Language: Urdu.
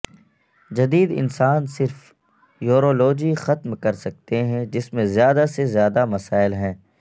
جدید انسان صرف یورولوجی ختم کر سکتے ہیں جس میں زیادہ سے زیادہ مسائل ہیں